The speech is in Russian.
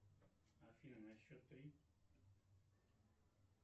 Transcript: афина на счет три